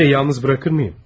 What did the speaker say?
Rodi'yi yalnız bırakır mıyım?